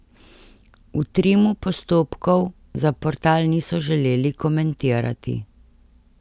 V Trimu postopkov za portal niso želeli komentirati.